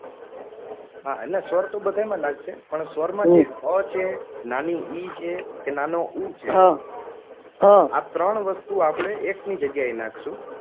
હા, ના સ્વર તો બધાય માં લાગશે પણ સ્વર માં જે અ છે નાની ઈ છે કે નાની ઊ છે એ ત્રણ વસ્તુ આપડે એક ની જગ્યા એ નાખશું.